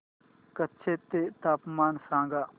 कच्छ चे तापमान सांगा